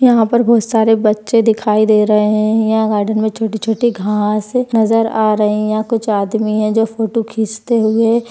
यहा पर बहुत सारे बच्चे दिखाई दे रहे है। यहा गार्डन मे छोटे-छोटे घास नजर आ रहे यहा कुछ आदमी है जो फोटो खिचते हुए --